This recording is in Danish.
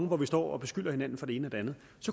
hvor vi står og beskylder hinanden for det ene og det andet